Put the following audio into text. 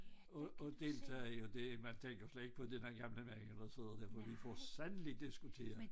At at deltage i det man tænker slet ikke på den er gamle mænd der sidder der for vi får fandme diskuteret